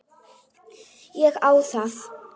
Ég á það.